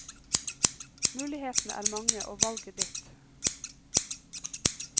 Mulighetene er mange og valget ditt.